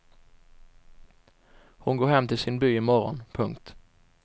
Hon går hem till sin by i morgon. punkt